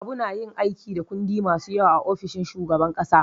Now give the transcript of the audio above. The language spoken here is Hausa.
Habu na yin aiki da kundi masu yawa a ofishin shugaban kasa.